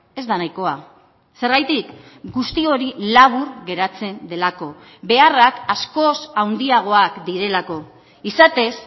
ez da nahikoa zergatik guzti hori labur geratzen delako beharrak askoz handiagoak direlako izatez